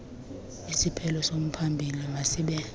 isiphelo somphambili masibe